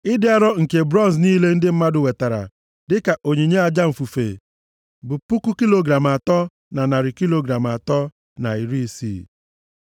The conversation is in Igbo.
Ịdị arọ nke bronz niile ndị mmadụ wetara dịka onyinye aja mfufe bụ puku kilogram atọ, na narị kilogram atọ, na iri isii.